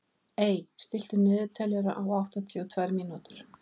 Ey, stilltu niðurteljara á áttatíu og tvær mínútur.